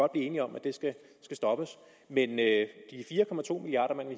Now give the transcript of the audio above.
blive enige om skal stoppes men